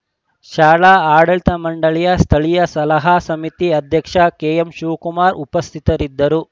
ಶಾಲಾ ಆಡಳಿತ ಮಂಡಲಿಯ ಸ್ಥಳೀಯ ಸಲಹಾ ಸಮಿತಿ ಅಧ್ಯಕ್ಷ ಕೆಎಂಶಿವಕುಮಾರ್‌ ಉಪಸ್ಥಿತರಿದ್ದರು